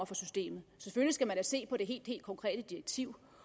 fra systemet selvfølgelig skal man da se på det helt helt konkrete direktiv